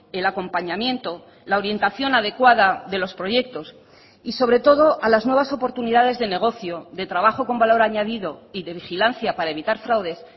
el acompañamiento la orientación adecuada de los proyectos y sobre todo a las nuevas oportunidades de negocio de trabajo con valor añadido y de vigilancia para evitar fraudes